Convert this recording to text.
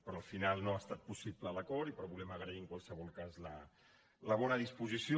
però al final no ha estat possible l’acord però volem agrair en qualsevol cas la bona disposició